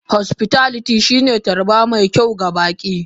Hospitality shine hanyar tarba mai kyau ga baki.